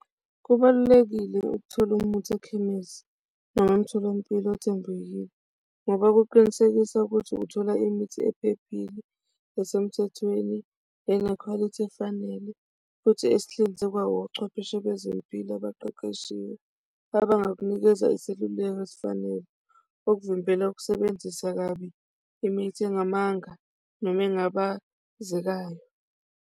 Kubalulekile ukuthola umuthi ekhemesi noma emtholampilo othembekile ngoba kuqinisekisa ukuthi uthola imithi ephephile esemthethweni enekhwalithi efanele, futhi ezihlinzekwa wochwepheshe bezempilo abaqeqeshiwe abangakunikeza iseluleko esifanele okuvimbela ukusebenzisa kabi imithi engamanga noma engabazekayo.